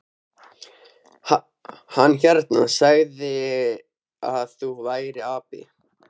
Hann hérna. hann sagði að þú værir api.